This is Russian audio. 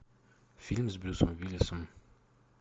фильм с брюсом уиллисом